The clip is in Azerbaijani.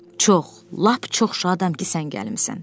Çox, lap çox şadam ki, sən gəlmisən.